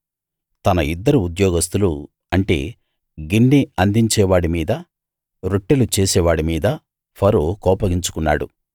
తన ఇద్దరు ఉద్యోగస్థులు అంటే గిన్నె అందించే వాడి మీదా రొట్టెలు చేసే వాడి మీదా ఫరో కోపగించుకున్నాడు